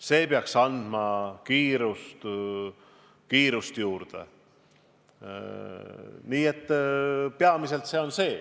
See peaks andma kiirust juurde.